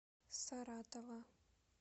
саратова